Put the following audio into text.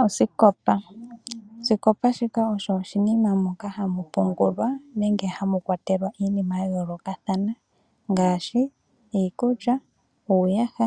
Oosikopa. Oosikopa shika osho oshinima moka hamu pungulwa nenge hamu kwatelwa iinima ya yoolokathana ngaashi iikulya, uuyaha,